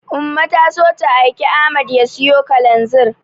Umma ta so ta aiki Ahmad ya siyo Kalanzir.